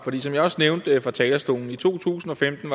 som jeg også nævnte fra talerstolen i to tusind og femten